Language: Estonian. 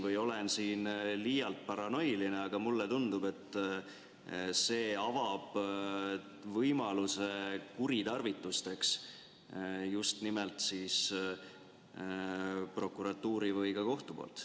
Võib-olla olen siin liialt paranoiline, aga mulle tundub, et see avab võimaluse kuritarvitusteks just nimelt prokuratuuri või ka kohtu poolt.